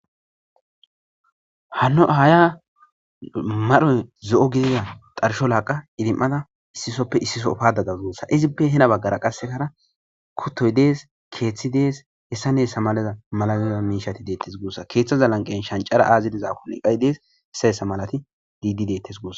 Hanno ahaya madhoy zo'o gidida xarsho laaqa idim'ada issisoppe issiso paadada zuussa izippe hena baggara qassekara kuttoy dees keeththi dees hessa neessa maleza malaliza miishati deettes guussa keeththaza lanqen shancara aazidizakkon iqay dees hessa essa malati diidi deettes goos.